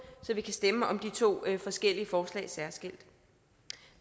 så vi kan stemme om de to forskellige forslag særskilt